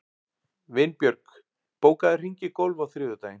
Vinbjörg, bókaðu hring í golf á þriðjudaginn.